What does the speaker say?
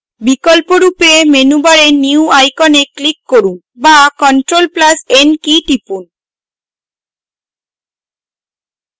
বিকল্পরূপে মেনুবারে new icon click করুন বা ctrl + n কী টিপুন